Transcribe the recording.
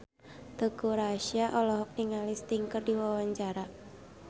Teuku Rassya olohok ningali Sting keur diwawancara